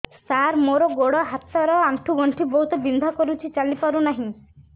ସାର ମୋର ଗୋଡ ହାତ ର ଆଣ୍ଠୁ ଗଣ୍ଠି ବହୁତ ବିନ୍ଧା କରୁଛି ଚାଲି ପାରୁନାହିଁ